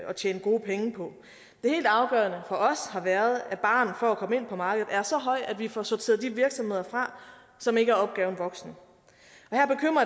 tjene gode penge på det helt afgørende for os har været at barren for at komme ind på markedet er så høj at vi får sorteret de virksomheder fra som ikke er opgaven voksen